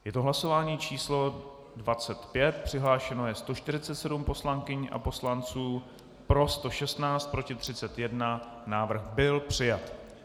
Je to hlasování číslo 25, přihlášeno je 147 poslankyň a poslanců, pro 116, proti 31, návrh byl přijat.